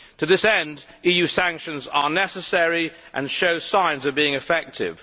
To this end EU sanctions are necessary and show signs of being effective.